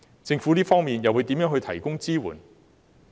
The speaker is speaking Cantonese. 就此，政府又會如何提供支援呢？